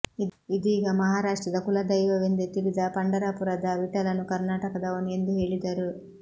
ಇದೀಗ ಮಹಾರಾಷ್ಟ್ರದ ಕುಲದೈವವೆಂದೇ ತಿಳಿದ ಪಂಢರಪುರದ ವಿಠಲನು ಕರ್ನಾಟಕದವನು ಎಂದು ಹೇಳಿದರು